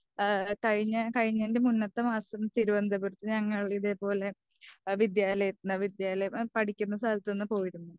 ആ കഴിഞ്ഞ കഴിഞ്ഞേനെ മുന്നത്തെ മാസം തിരുപന്തപുരത്തിന് ഞങ്ങൾ ഇതേ പോലെ വിദ്ത്യലയ വിദ്ര്യലയം പഠിക്കുന്ന സ്ഥലത്ത്‌ നിന്ന് പോയിരുന്നു.